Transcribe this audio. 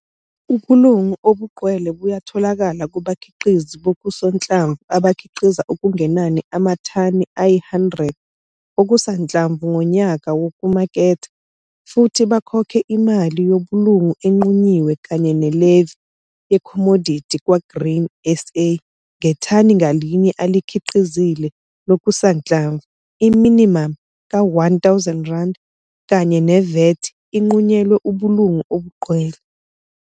Ubulungu obugcwele buyatholakala kubakhiqizi bokusanhlamvu abakhiqiza okungenani amathani ayi-100 okusanhlamvu ngonyaka wokumaketha, futhi bakhokhe imali yobulungu enqunyiwe kanye ne-levy yekhomodithi kwa-Grain SA ngethani ngalinye alikhiqizile lokusanhlamvu. I-minimum ka-R1 000 kanye ne-VAT inqunyelwe ubulungu obugcwele.